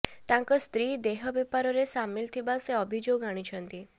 ତାଙ୍କ ସ୍ତ୍ରୀ ଦେହ ବେପାରରେ ସାମିଲ୍ ଥିବା ସେ ଅଭିଯୋଗ ଆଣିଛନ୍ତି